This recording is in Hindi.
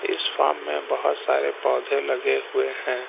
इस फार्म मे बहोत सारे पौधे लगे हुए हैं।